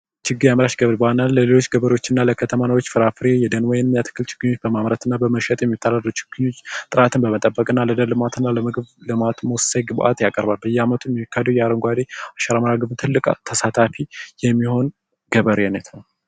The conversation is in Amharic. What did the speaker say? በአንዳንድ ለሌሎች ገበሬወች እና ለከተማ ኗሪወች ፍራፍሬ የደን ወይም አትክልት ችግኝ በማምረት እና በመሸጥ የሚተዳደሩ ችግኞች ጥራትን በመጠበቅ እና ለደን ልማት እና ለምግብ ልማት ወሳኝ ወሳኝ ግባት ያቀርባሉ ።በያመቱ የሚካሄደዉ አረንጓዴ አሻራ መርሀ ግብር ትልቅ ተሳታፊ የሚሆን ገበሬነት ነዉ።